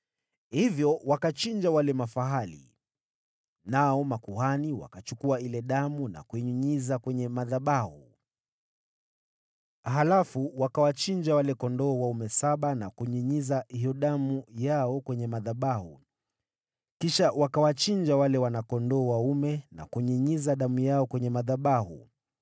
Hivyo wakachinja wale mafahali, nao makuhani wakachukua ile damu na kuinyunyiza kwenye madhabahu, halafu wakawachinja wale kondoo dume saba na kunyunyiza hiyo damu yao kwenye madhabahu, kisha wakawachinja wale wana-kondoo dume na kunyunyiza damu yao kwenye madhabahu.